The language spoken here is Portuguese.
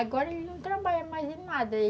Agora ele não trabalha mais em nada.